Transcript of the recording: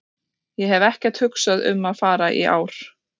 Ég hef ekkert hugsað um að fara í ár.